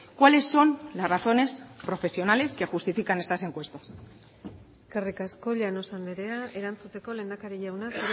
cuáles son las razones profesionales que justifican estas encuestas eskerrik asko llanos andrea erantzuteko lehendakari jauna